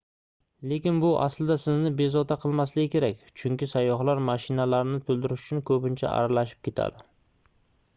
lekin bu aslida sizni bezovta qilmasligi kerak chunki sayyohlar mashinalarni toʻldirish uchun koʻpincha aralashib ketadi